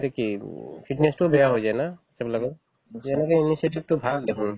এতিয়া কি উম fitness তোও বেয়া হৈ যায় না সেইবিলাকত যেনেকে ভাল দেখুন